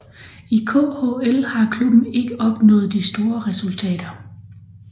I KHL har klubben ikke opnået de store resultater